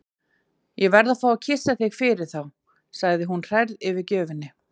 Ég verð að fá að kyssa þig fyrir þá, segir hún hrærð yfir gjöfinni.